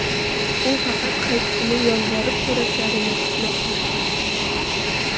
U faqat qaytishini yolvorib so‘rashlarini kutmoqda.